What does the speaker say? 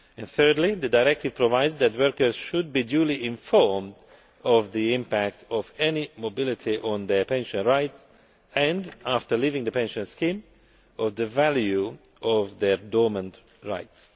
Thirdly, the directive provides that workers should be duly informed of the impact of any mobility on their pension rights and, after leaving the pension scheme, of the value of their dormant rights.